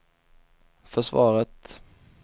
försvaret